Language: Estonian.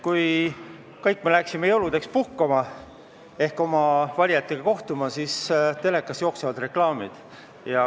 Kui kõik me läksime jõuludeks puhkama ehk oma valijatega kohtuma, siis telekas jooksid reklaamid.